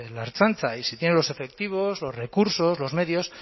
la ertzaintza y si tiene los efectivos los recursos los medios